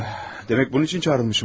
Yax, demək bunun üçün çağrılmışam buraya.